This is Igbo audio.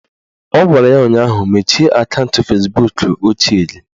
Ọ gwara ya ụnyaahụ "Mechie akaụntụ Fezbuk ochie gị"!